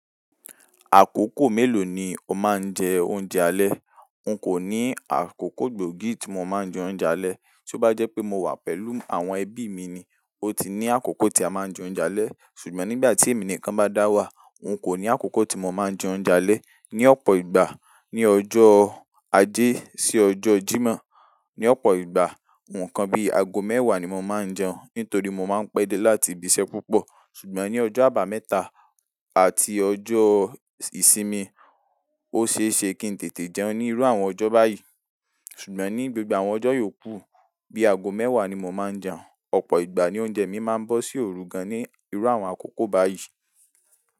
Àkókò mélòó ni o máa ń jẹ oúnjẹ alẹ́? N kò ní àkókò gbòógì tí mo máa ń jẹ oúnjẹ alẹ́. Tó bá jẹ́ pé mo wà pẹ̀lú àwọn ẹbí mi ni, ó ti ní àkókò tí a máa ń jẹ oúnjẹ alẹ́. Ṣùgbọ́n nígbà tí èmi nìkan bá dá wà, n kò ní àkókò tí mo máa ń jẹ oúnjẹ alẹ́. Ni ọ̀pọ̀ ìgbà ni ọjọ́ ajé sí ọjọ́ Jímọ̀, ní ọ̀pọ̀ ìgbà, nǹkan bí ago mẹ́wàá ni mo máa ń jẹun, nítorí mo máa ń pẹ́ dé láti ibi iṣẹ́ púpọ̀. Ṣùgbọ́n ní ọjọ́ àbámẹ́ta àti ọjọ́ ìsinmi, ó ṣe é ṣe kí n tètè jẹun ní irú àwọn ọjọ́ báyìí. Ṣùgbọ́n ní gbogbo àwọn ọjọ́ yòókù, bí ago mẹ́wàá ni mo máa ń jẹun. Ọ̀pọ̀ ìgbà ni oúnjẹ mi máa ń bọ́ sí òru gan ní irú àwọn àkókò báyìí.